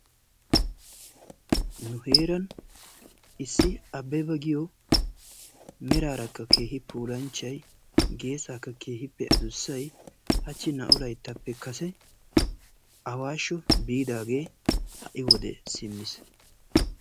nu heeran issi abbeba giyo meraarakka keehi puulanchchay geesaaka keehippe adussay hachchi naa"u layttappe kase awaashsho biidagee ha'i wode simmiis.